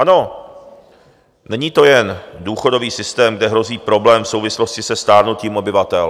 Ano, není to jen důchodový systém, kde hrozí problém v souvislosti se stárnutím obyvatel.